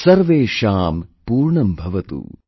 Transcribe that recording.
Sarvesham Purnambhavatu